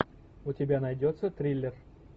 у тебя найдется триллер